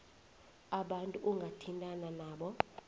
abantu ongathintana nabo